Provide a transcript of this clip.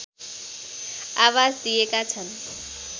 आवाज दिएका छन्